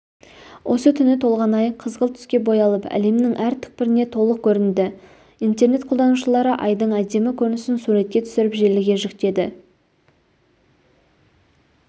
осы түні толған ай қызғылт түске боялып әлемнің әр түкпіріне толық көрінді интернет қолданушылары айдың әдемі көрінісін суретке түсіріп желіге жүктеді